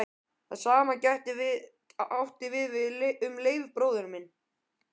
Það sama gæti átt við um Leif bróður minn.